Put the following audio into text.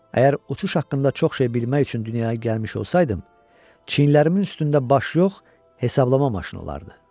Əgər uçuş haqqında çox şey bilmək üçün dünyaya gəlmiş olsaydım, çiynlərimin üstündə baş yox, hesablama maşını olardı.